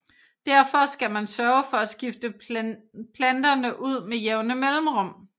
Derfor skal man sørge for at skifte planterne ud med jævne mellemrum